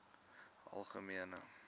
algemene